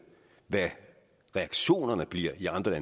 hvad reaktionerne bliver i andre